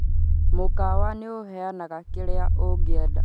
mukawa nĩ ũheanaga kirĩa ũngĩenda